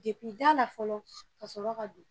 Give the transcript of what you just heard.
la fɔlɔ ka sɔrɔ ka don